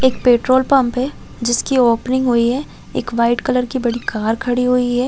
एक petrol pump है जिसकी ओपनिंग हुई है एक वाइट कलर की बड़ी कार खड़ी हुई है।